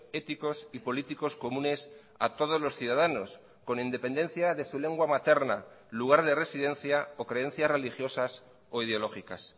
éticos y políticos comunes a todos los ciudadanos con independencia de su lengua materna lugar de residencia o creencias religiosas o ideológicas